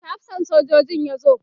yaushe hafsan sojojin ya zo?